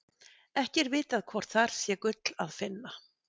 Ekki er vitað hvort þar sé gull að finna.